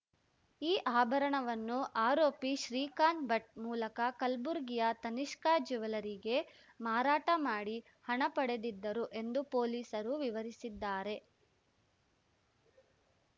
ಈ ಆಭರಣವನ್ನು ಆರೋಪಿ ಶ್ರೀಕಾಂತ್‌ ಭಟ್‌ ಮೂಲಕ ಕಲ್ಬುರ್ಗಿಯ ತನಿಷ್ಕಾ ಜುವೆಲ್ಲರಿಗೆ ಮಾರಾಟ ಮಾಡಿ ಹಣ ಪಡೆದಿದ್ದರು ಎಂದು ಪೊಲೀಸರು ವಿವರಿಸಿದ್ದಾರೆ